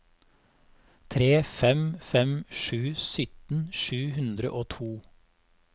tre fem fem sju sytten sju hundre og to